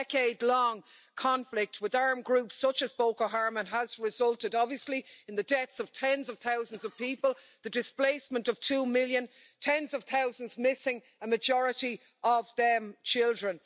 The decade long conflict with armed groups such as Boko Haram has obviously resulted in the deaths of tens of thousands of people, the displacement of two million, and tens of thousands missing, a majority of them children.